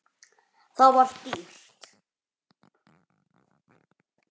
Það var dýrt.